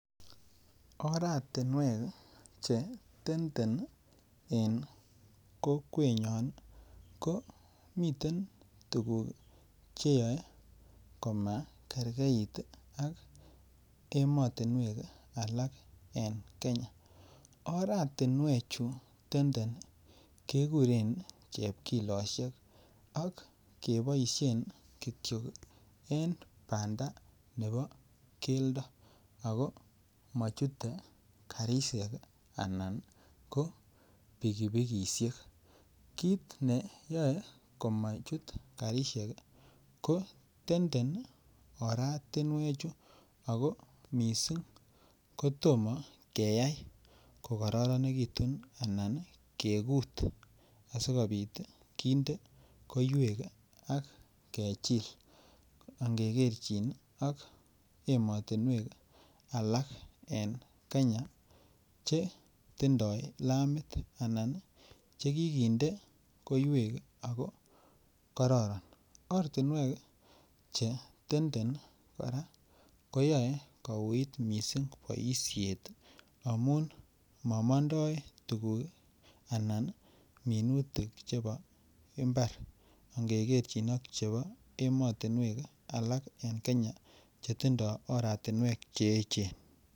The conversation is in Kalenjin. Oratinwek che tenden en kokwenyon i ,ko miten tuguk che yae ko makerkeit ak ematunwek alak en Kenya. Oratunwechutok tenden kekuren chepkiloshek ak kepaishen kityo en panda nepo geldo ako machute karishek anan ko pikipikishek. Kiit ne yae ko machut karishek ko tenden oratunwechutok ako mising' ko toma keyai kokararanekitun anan kekuut asikopit kinde koiwek ak kechil. Angekerchin ak ematunwek alak Kenya che tindai lamit anan che kikinde koiwek ak kokararan. Ortinwek che tenden kora ko yae kouit missing' poishet amun ma mandai tuguk anan minutik chepo mbar ngekerchin ak chepo ematunwek alak en Kenya che tindai oratunwek che echen.